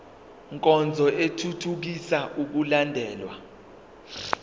nkonzo ithuthukisa ukulandelwa